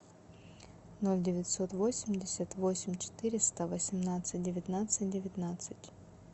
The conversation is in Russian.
ноль девятьсот восемьдесят восемь четыреста восемнадцать девятнадцать девятнадцать